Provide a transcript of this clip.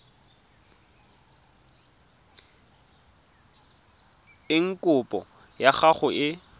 eng kopo ya gago e